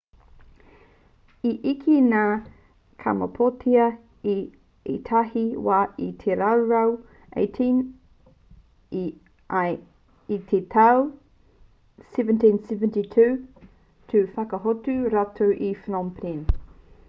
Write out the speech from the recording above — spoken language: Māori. i eke ngā thais i kamapōtia i ētahi wā i te rautau 18 ā i te tau 1772 i whakahotu rātou i phnom phen